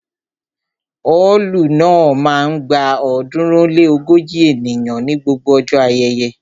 Ọ́ọ̀lù náà máa ń gba ọ̀ọ́dúnrún ó lé ógójì ènìyàn ní gbogbo ọjọ́ ayẹyẹ